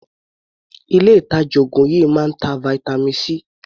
Ilé ìtàjà oògùn yìí máa ń ta vitamin C.